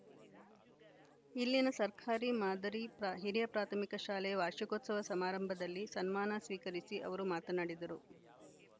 ಇಲ್ಲಿನ ಸರ್ಕಾರಿ ಮಾದರಿ ಹಿರಿಯ ಪ್ರಾಥಮಿಕ ಶಾಲೆ ವಾರ್ಷಿಕೋತ್ಸವ ಸಮಾರಂಭದಲ್ಲಿ ಸನ್ಮಾನ ಸ್ವೀಕರಿಸಿ ಅವರು ಮಾತನಾಡಿದರು